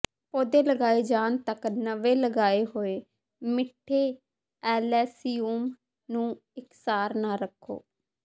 ਪੌਦੇ ਲਗਾਏ ਜਾਣ ਤੱਕ ਨਵੇ ਲਗਾਏ ਹੋਏ ਮਿੱਠੇ ਅਲੇਸਯੂਮ ਨੂੰ ਇਕਸਾਰ ਨਾ ਰੱਖੋ